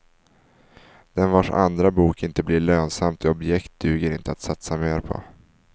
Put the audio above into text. Den vars andra bok inte blir lönsamt objekt duger inte att satsa mer på.